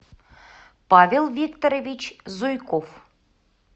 павел викторович зуйков